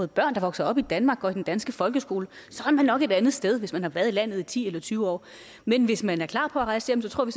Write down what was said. der vokser op i danmark og går i den danske folkeskole er man nok et andet sted altså hvis man har været i landet i ti eller tyve år men hvis man er klar på at rejse hjem tror vi